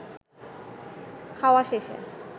খাওয়া শেষে